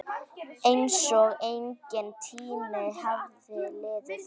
Einsog enginn tími hafi liðið.